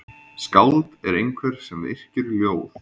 Skáld er einhver sem yrkir ljóð.